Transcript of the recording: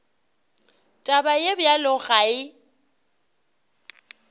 taba ye bjalo ga e